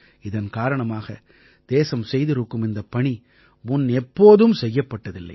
இதன் காரணமாக தேசம் செய்திருக்கும் இந்தப் பணி முன்னெப்போதும் செய்யப்பட்டதில்லை